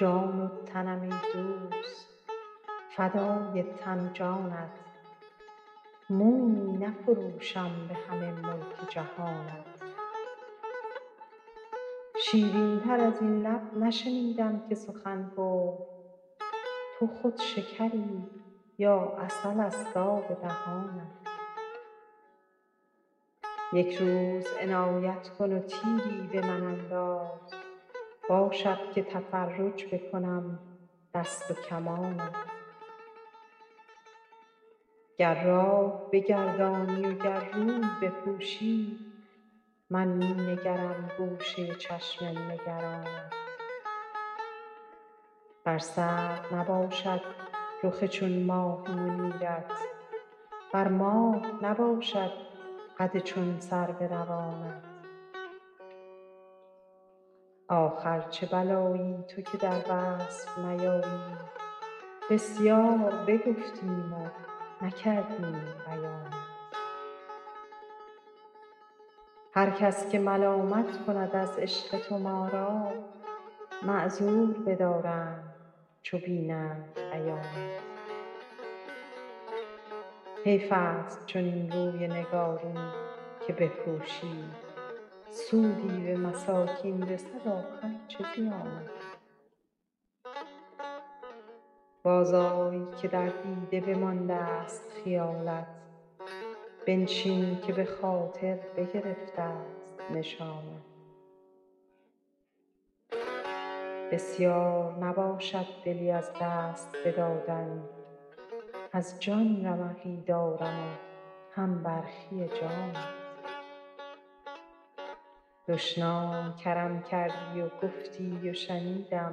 جان و تنم ای دوست فدای تن و جانت مویی نفروشم به همه ملک جهانت شیرین تر از این لب نشنیدم که سخن گفت تو خود شکری یا عسل ست آب دهانت یک روز عنایت کن و تیری به من انداز باشد که تفرج بکنم دست و کمانت گر راه بگردانی و گر روی بپوشی من می نگرم گوشه چشم نگرانت بر سرو نباشد رخ چون ماه منیرت بر ماه نباشد قد چون سرو روانت آخر چه بلایی تو که در وصف نیایی بسیار بگفتیم و نکردیم بیانت هر کس که ملامت کند از عشق تو ما را معذور بدارند چو بینند عیانت حیف ست چنین روی نگارین که بپوشی سودی به مساکین رسد آخر چه زیانت بازآی که در دیده بماندست خیالت بنشین که به خاطر بگرفت ست نشانت بسیار نباشد دلی از دست بدادن از جان رمقی دارم و هم برخی جانت دشنام کرم کردی و گفتی و شنیدم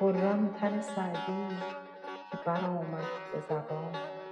خرم تن سعدی که برآمد به زبانت